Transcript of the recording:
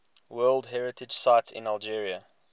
world heritage sites in algeria